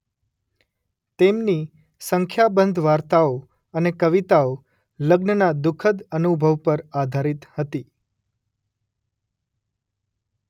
તેમની સંખ્યાબંધ વાર્તાઓ અને કવિતાઓ લગ્નના દુખદ અનુભવ પર આધારિત હતી.